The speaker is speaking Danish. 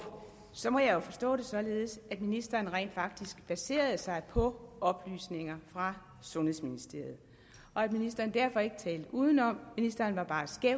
så må jeg jo forstå det således at ministeren rent faktisk baserede sig på oplysninger fra sundhedsministeriet og at ministeren derfor ikke talte udenom ministeren var bare skæv